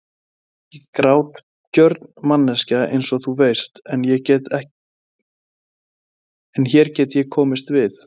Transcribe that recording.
Ég er ekki grátgjörn manneskja einsog þú veist, en hér get ég komist við.